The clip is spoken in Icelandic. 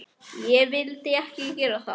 Ég vildi ekki gera það.